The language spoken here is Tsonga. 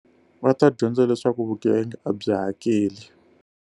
Va ta dyondza leswaku vugevenga a byi hakeli.